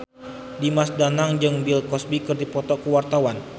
Dimas Danang jeung Bill Cosby keur dipoto ku wartawan